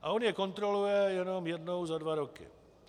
A on je kontroluje jenom jednou za dva roky.